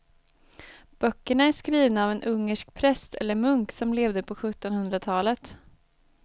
Böckerna är skrivna av en ungersk präst eller munk som levde på sjuttonhundratalet.